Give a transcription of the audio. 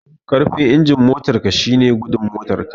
Karfin injin motar ka shine gudun motar ka